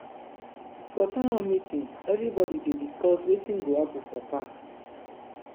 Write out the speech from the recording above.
for town hall meeting everyone dey discuss wetin go happen for park.